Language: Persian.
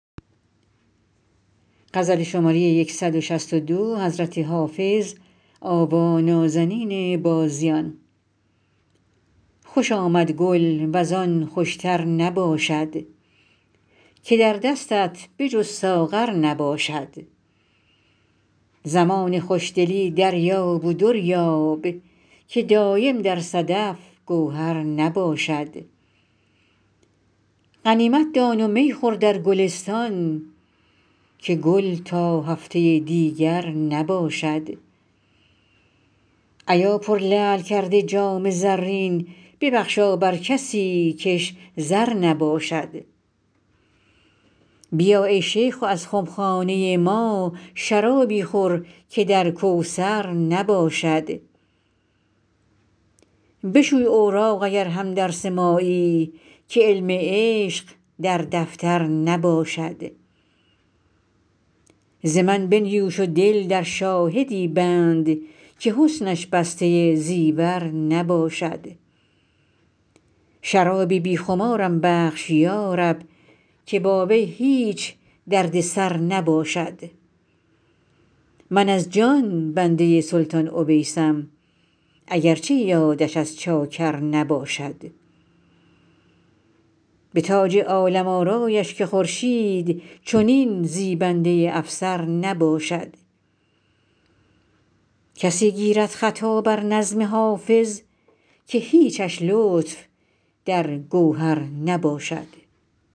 خوش آمد گل وز آن خوش تر نباشد که در دستت به جز ساغر نباشد زمان خوش دلی دریاب و در یاب که دایم در صدف گوهر نباشد غنیمت دان و می خور در گلستان که گل تا هفته دیگر نباشد ایا پرلعل کرده جام زرین ببخشا بر کسی کش زر نباشد بیا ای شیخ و از خم خانه ما شرابی خور که در کوثر نباشد بشوی اوراق اگر هم درس مایی که علم عشق در دفتر نباشد ز من بنیوش و دل در شاهدی بند که حسنش بسته زیور نباشد شرابی بی خمارم بخش یا رب که با وی هیچ درد سر نباشد من از جان بنده سلطان اویسم اگر چه یادش از چاکر نباشد به تاج عالم آرایش که خورشید چنین زیبنده افسر نباشد کسی گیرد خطا بر نظم حافظ که هیچش لطف در گوهر نباشد